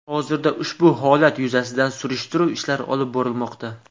Hozirda ushbu holat yuzasidan surishtiruv ishlari olib borilmoqda.